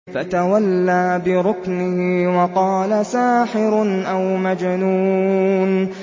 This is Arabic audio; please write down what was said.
فَتَوَلَّىٰ بِرُكْنِهِ وَقَالَ سَاحِرٌ أَوْ مَجْنُونٌ